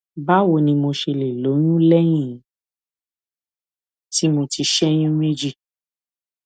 báwo ni mo ṣe lè lóyún léyìn tí mo ti ṣé oyún méjì